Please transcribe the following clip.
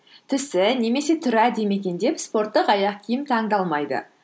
түсі немесе түрі әдемі екен деп спорттық аяқ киім таңдалмайды